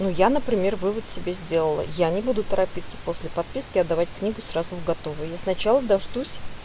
но я например вывод себе сделала я не буду торопиться после подписки отдавать книгу сразу в готовый я сначала дождусь